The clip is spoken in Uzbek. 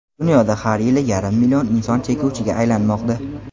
Dunyoda har yili yarim million inson chekuvchiga aylanmoqda.